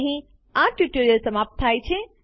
અહીં આ ટ્યુટોરીયલ સમાપ્ત થાય છે